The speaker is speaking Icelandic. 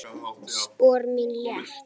Halli Júlía!